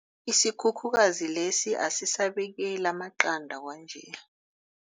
Isikhukhukazi lesi asisabekeli amaqanda kwanje.